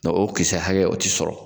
o kisɛ hakɛ o te sɔrɔ.